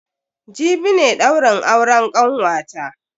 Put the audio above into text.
Jibi ne daurin auren kanwata.